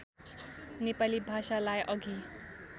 नेपाली भाषालाई अघि